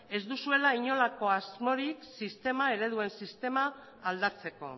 ez duzuela inolako asmorik ereduen sistema aldatzeko